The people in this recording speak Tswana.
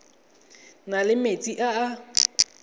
na le metsi a a